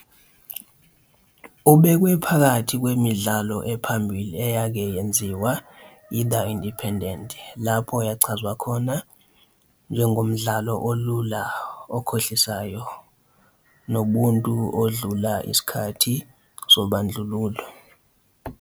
Ubekwe phakathi kwemidlalo ephambili eyake yenziwa yi- "The Independent", lapho yachazwa khona njenge "umdlalo olula okhohlisayo nobuntu odlula isikhathi sobandlululo."